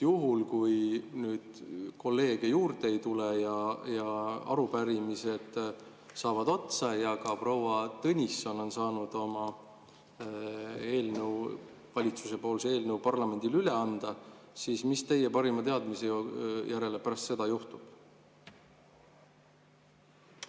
Juhul, kui nüüd kolleege juurde ei tule, arupärimised saavad otsa ja ka proua Tõnisson on saanud valitsuse eelnõu parlamendile üle anda, siis mis teie parima teadmise järele pärast seda juhtub?